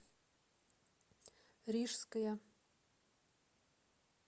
рижская